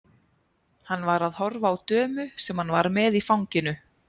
Hann var að horfa á dömu sem hann var með í fanginu.